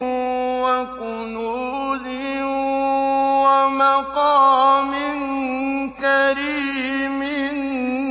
وَكُنُوزٍ وَمَقَامٍ كَرِيمٍ